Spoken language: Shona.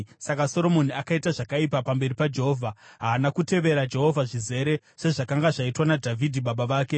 Saka Soromoni akaita zvakaipa pamberi paJehovha; haana kutevera Jehovha zvizere sezvakanga zvaitwa naDhavhidhi baba vake.